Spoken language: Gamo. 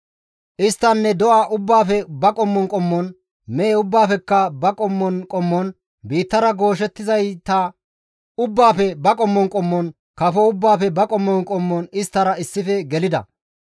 Isttanne do7a ubbaafe ba qommon qommon, mehe ubbaafekka ba qommon qommon, biittara gooshettizayata ubbaafe ba qommon qommon, kafo ubbaafe ba qommon qommon isttara issife gelida.